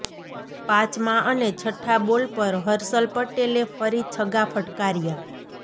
પાંચમા અને છઠ્ઠા બોલ પર હર્ષલ પટેલે ફરી છગ્ગા ફટકાર્યા